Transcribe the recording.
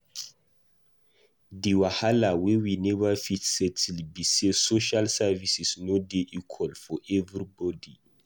Di wahala wey we neva fit settle be sey social services no dey equal for everybody.